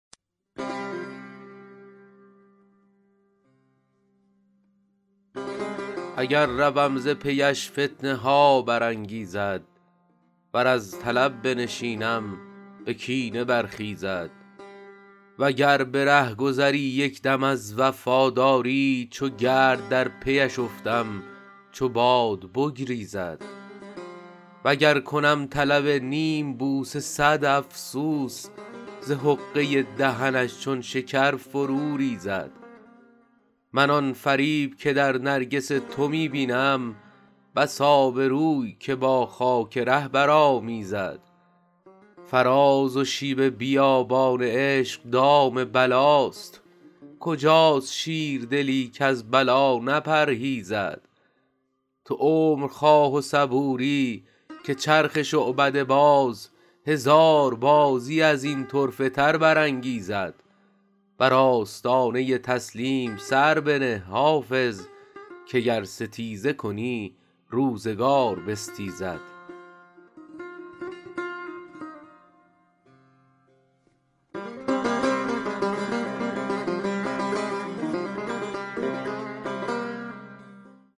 اگر روم ز پی اش فتنه ها برانگیزد ور از طلب بنشینم به کینه برخیزد و گر به رهگذری یک دم از وفاداری چو گرد در پی اش افتم چو باد بگریزد و گر کنم طلب نیم بوسه صد افسوس ز حقه دهنش چون شکر فرو ریزد من آن فریب که در نرگس تو می بینم بس آبروی که با خاک ره برآمیزد فراز و شیب بیابان عشق دام بلاست کجاست شیردلی کز بلا نپرهیزد تو عمر خواه و صبوری که چرخ شعبده باز هزار بازی از این طرفه تر برانگیزد بر آستانه تسلیم سر بنه حافظ که گر ستیزه کنی روزگار بستیزد